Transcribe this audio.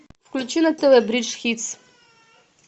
включи на тв бридж хитс